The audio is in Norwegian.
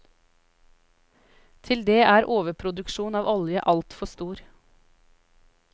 Til det er overproduksjonen av olje altfor stor.